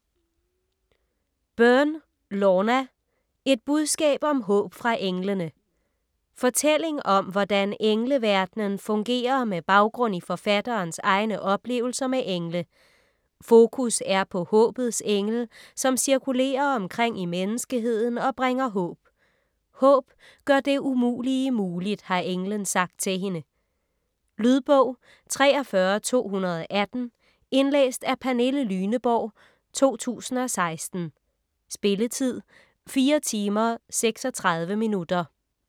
Byrne, Lorna: Et budskab om håb fra englene Fortælling om hvordan engleverdenen fungerer med baggrund i forfatterens egne oplevelser med engle. Fokus er på håbets engel, som cirkulerer omkring i menneskeheden og bringer håb. "Håb gør det umulige muligt", har englen sagt til hende. Lydbog 43218 Indlæst af Pernille Lyneborg, 2016. Spilletid: 4 timer, 36 minutter.